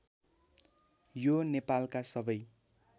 यो नेपालका सबै